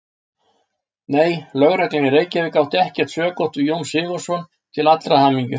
Nei, Lögreglan í Reykjavík átti ekkert sökótt við Jón Sigurðsson til allrar hamingju.